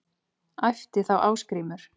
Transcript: æpti þá Ásgrímur